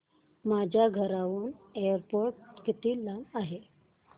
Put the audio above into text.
माझ्या घराहून एअरपोर्ट किती लांब आहे